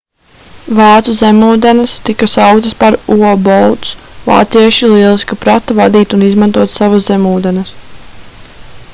vācu zemūdenes tika sauktas par u-boats vācieši lieliski prata vadīt un izmantot savas zemūdenes